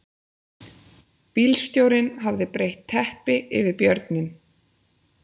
Bílstjórinn hafði breitt teppi yfir björninn